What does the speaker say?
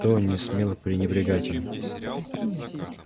никто не смел пренебрегать им